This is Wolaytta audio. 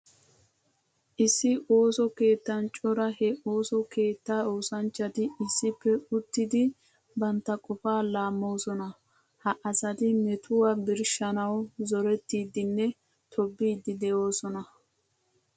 Issi ooso keettan cora he ooso keetta oosanchchatti issippe uttiddi bantta qofaa laamoosona. Ha asatti metuwa birshshanawu zorettidinne tobiiddi de'oosona.